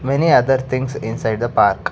many other things inside the park.